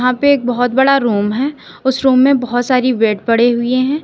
यहाँ पे एक बहोत बड़ा रूम है उस रूम में बहोत सारी बेड पड़े हुए हैं।